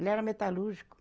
Ele era metalúrgico.